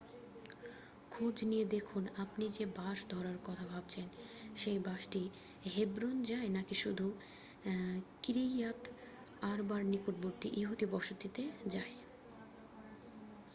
খোঁজ নিয়ে দেখুন আপনি যে বাস ধরার কথা ভাবছেন সেই বাসটি হেব্রন যায় নাকি শুধু কিরিইয়াত আরবার নিকটবর্তী ইহুদি বসতিতে যায়